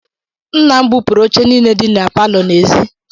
Nna m bupụrụ oche niile dị na palọ n'èzí.